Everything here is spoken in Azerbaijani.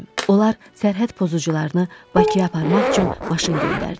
Onlar sərhəd pozucularını Bakıya aparmaq üçün maşın göndərdilər.